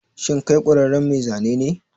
Shin kai ƙwararren mai zane ne?